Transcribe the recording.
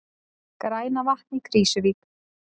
Grænavatn í Krýsuvík.